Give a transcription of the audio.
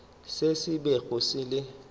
se se bego se le